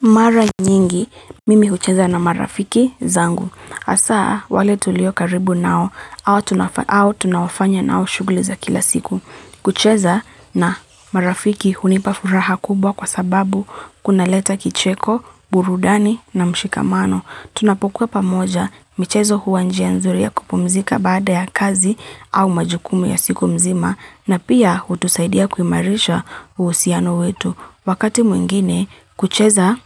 Mara nyingi, mimi kucheza na marafiki zangu. Asa, wale tulio karibu nao, au tunaowafanya nao shuguliza kila siku. Kucheza na marafiki hunipafuraha kubwa kwa sababu kuna leta kicheko, burudani na mshikamano. Tunapokua pamoja, michezo hua njia nzuri ya kupumzika baada ya kazi au majukumu ya siku mzima, na pia hutusaidia kuimarisha usiano wetu. Wakati mwingine kucheza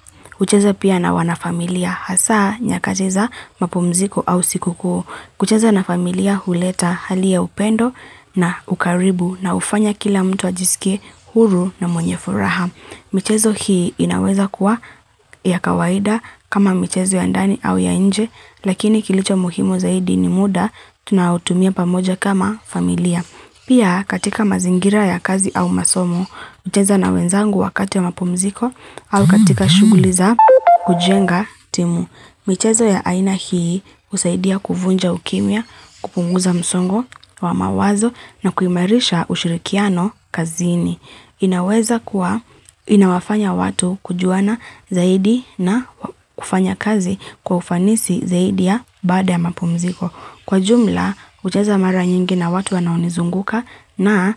pia na wana familia hasa nyakati za mapumziko au siku kuu. Kucheza na familia huleta hali ya upendo na ukaribu na ufanya kila mtu ajisike huru na mwenye furaha. Michezo hii inaweza kuwa ya kawaida kama michezo ya ndani au ya nje, lakini kilicho muhimo zaidi ni muda, tunautumia pamoja kama familia. Pia katika mazingira ya kazi au masomo, ucheza na wenzangu wakati ya mapumziko au katika shuguli za kujenga timu. Michezo ya aina hii usaidia kuvunja ukimia, kupunguza msongo wa mawazo na kuimarisha ushirikiano kazini. Inaweza kuwa, inawafanya watu kujuana zaidi na kufanya kazi kwaufanisi zaidi ya bada ya mapumziko. Kwa jumla, ucheza mara nyingi na watu wanaonizunguka na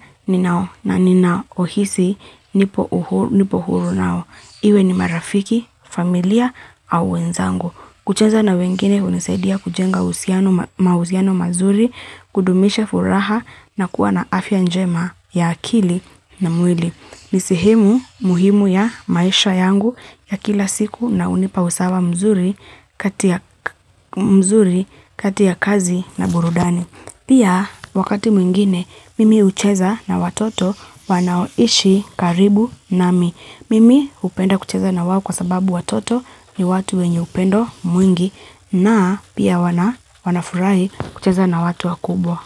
ninaohisi nipo huru nao. Iwe ni marafiki, familia au wenzangu. Kucheza na wengine unisaidia kujenga mauziano mazuri, kudumisha furaha na kuwa na afya njema ya akili na mwili. Nisehemu muhimu ya maisha yangu ya kila siku na unipa usawa mzuri katia mzuri katia kazi na burudani. Pia wakati mwingine mimi hucheza na watoto wanaoishi karibu nami. Mimi upenda kucheza na wawo kwa sababu watoto ni watu wenye upendo mwingi na pia wanafurahi kucheza na watu wakubwa.